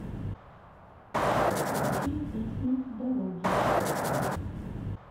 включи песню дороги